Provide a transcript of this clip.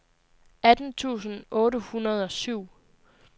atten tusind otte hundrede og syv